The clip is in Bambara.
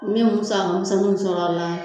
N bɛ musaka misɛnninw sɔrɔ a la